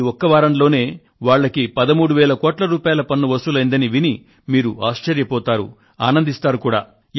ఈ ఒక్క వారంలో వాళ్ళకి 13 వేల కోట్ల రూపాయల పన్ను వసూలైందని విని మీరు ఆశ్చర్యపోతారు ఆనందిస్తారు కూడా